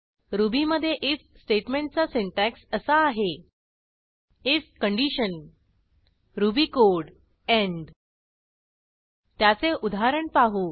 रुबीमधे इफ स्टेटमेंटचा सिंटॅक्स असा आहे IF condition Ruby code end त्याचे उदाहरण पाहू